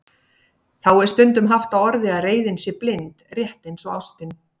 Þá er stundum haft á orði að reiðin sé blind, rétt eins og ástin.